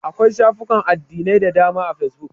Akwai shafukan addinai da dama a fesbuk.